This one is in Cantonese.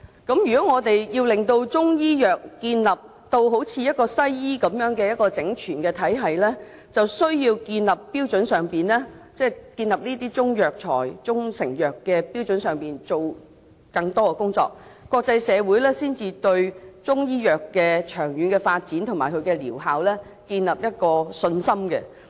如果我們要令中醫藥建立如西醫般的整全體系，便需要在建立中藥材及中成藥的標準上做更多的工作，國際社會才會對中醫藥的長遠發展及療效建立信心。